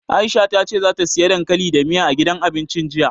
Aisha ta ce ta siya dankali da miya, a gidan abincin jiya.